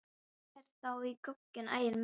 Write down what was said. Fáðu þér þá í gogginn, Ægir minn.